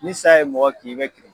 Ni sa ye mɔgɔ kin i bɛ kiri